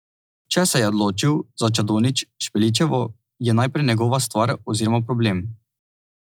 Če se je odločil za Čadonič Špeličevo, je najprej njegova stvar oziroma problem.